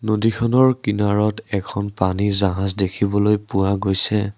নদীখনৰ কিনাৰত এখন পানী জাহাজ দেখিবলৈ পোৱা গৈছে।